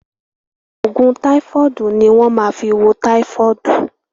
Òògùn táífọ̀dù ni wọ́n máa fí wo táífọ̀dù.